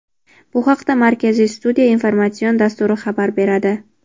Bu haqida "Markaziy studiya" informatsion dasturi xabar beradi.